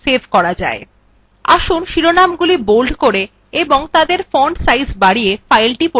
আসুন শিরোনামগুলি bold করে এবং তাদের font সাইজ বাড়িয়ে file পরিবর্তন করা যাক